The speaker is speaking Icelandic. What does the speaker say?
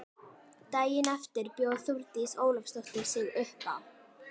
Daginn eftir bjó Þórdís Ólafsdóttir sig uppá.